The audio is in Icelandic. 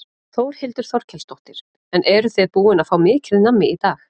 Þórhildur Þorkelsdóttir: En eruð þið búin að fá mikið nammi í dag?